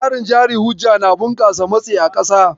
Tsarin jari hujja na bunƙasa matsi a ƙasa.